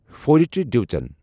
فوجچہِ division.